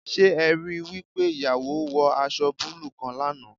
Se e ri wi pe iyawo wo aso buluu kan lana?